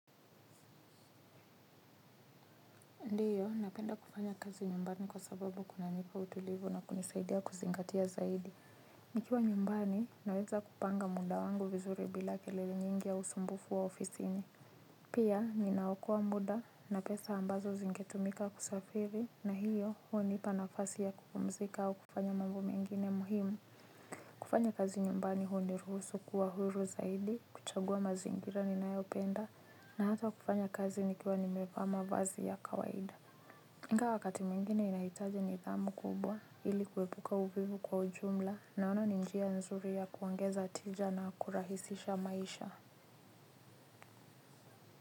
Ndiyo, napenda kufanya kazi nyumbani kwa sababu kunanipa utulivu na kunisaidia kuzingatia zaidi. Nikiwa nyumbani, naweza kupanga muda wangu vizuri bila kelele nyingi ya usumbufu wa ofisi lni. Pia, ninaokoa muda na pesa ambazo zingetumika kusafiri na hiyo hunipa nafasi ya kupumzika au kufanya mambo mengine muhimu. Kufanya kazi nyumbani huniruhusu kuwa huru zaidi, kuchagua mazingira ninayopenda na hata kufanya kazi nikiwa nimevaa mavazi ya kawaida. Ingawa wakati mwingine inahitaji nidhamu kubwa ili kuepuka uvivu kwa ujumla naona ni njia nzuri ya kuongeza tija na kurahisisha maisha.